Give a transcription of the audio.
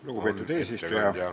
Lugupeetud eesistuja!